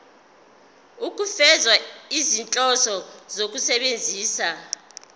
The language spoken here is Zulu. ukufeza izinhloso zokusebenzisa